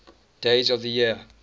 days of the year